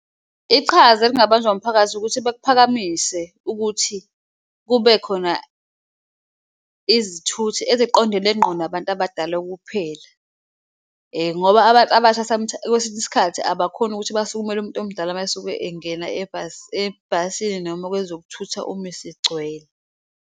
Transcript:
Iqhaza elingabanjwa umphakathi ukuthi bekuphakamise ukuthi kube khona izithuthi eziqondene nqo nabantu abadala ukuphela. Ngoba abantu abasha kwesinye isikhathi abakhoni ukuthi basukumele umuntu omdala mayesuke engena ebhasini noma kwezokuthutha uma isigcwele.